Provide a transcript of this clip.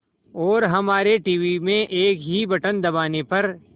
और हमारे टीवी में एक ही बटन दबाने पर